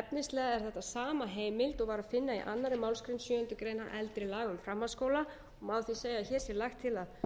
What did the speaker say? efnislega er þetta sama heimild og var að finna í annarri málsgrein sjöundu greinar eldri laga um framhaldsskóla og má því segja að hér sé lagt til að